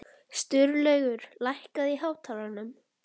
Sturlaugur, lækkaðu í hátalaranum.